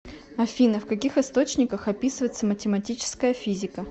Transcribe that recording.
афина в каких источниках описывается математическая физика